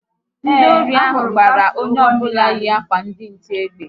Ndị ori ahụ gbara onye ọbụla yi akwa ndi nche egbe